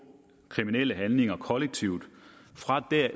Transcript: kriminelle handlinger kollektivt